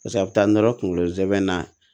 Pase a bɛ taa nɔrɔ kunkolo zɛmɛ na